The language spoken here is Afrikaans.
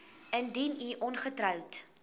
indien u ongetroud